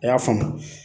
A y'a faamu